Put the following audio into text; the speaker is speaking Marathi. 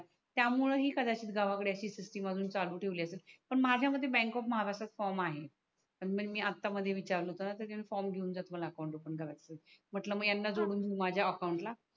त्या मूळे ही कधाचीत सुविधा गावा कडे असि सिस्टम असि चालू ठेवली असेल पण माझ्या मध्ये बँक ऑफ महाराष्ट्रचा फ्रॉम आहे पण मी आता मध्ये विचारल का मी हा फ्रॉम जातो मला अकाउंट ओपन करायचा आहे म्हटल यांना जोडून मी माझ्या अकाउंट ला